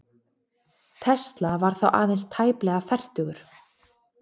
Tesla var þá aðeins tæplega fertugur.